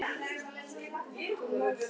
Hvetja menn til málsókna